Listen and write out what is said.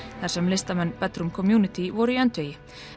þar sem listamenn community voru í öndvegi